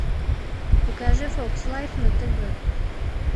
покажи фокс лайф на тв